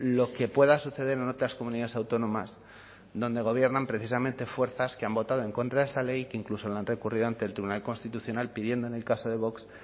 lo que pueda suceder en otras comunidades autónomas donde gobiernan precisamente fuerzas que han votado en contra de esa ley que incluso la han recurrido ante el tribunal constitucional pidiendo en el caso de vox